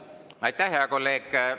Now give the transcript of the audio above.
Aitäh, hea kolleeg!